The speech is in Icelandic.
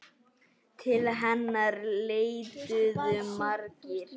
Til hennar leituðu margir.